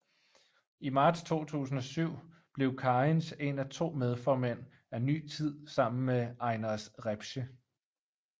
I marts 2007 blev Kariņš én af to medformænd af Ny Tid sammen med Einars Repše